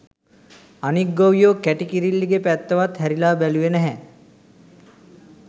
අනික් ගොවියො කැටි කිරිල්ලිගෙ පැත්තවත් හැරිලා බැලුවෙ නැහැ